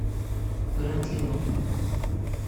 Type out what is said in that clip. гранд лион